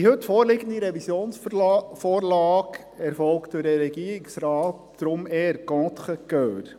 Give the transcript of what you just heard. Deshalb erfolgt die heute vorliegende Revisionsvorlage durch den Regierungsrat eher «contre cœur».